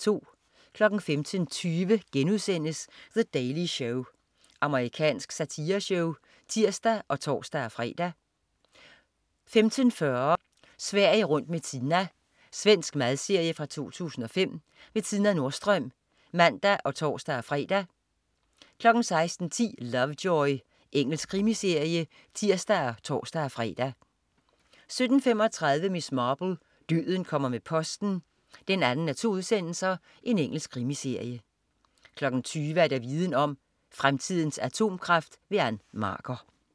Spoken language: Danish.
15.20 The Daily Show.* Amerikansk satireshow (tirs og tors-fre) 15.40 Sverige rundt med Tina. Svensk madserie fra 2005. Tina Nordström (tirs og tors-fre) 16.10 Lovejoy. Engelsk krimiserie (tirs og tors-fre) 17.35 Miss Marple: Døden kommer med posten 2:2. Engelsk krimiserie 20.00 Viden Om: Fremtidens atomkraft. Ann Marker